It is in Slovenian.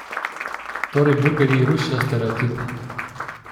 Torej burgerji rušijo stereotipe?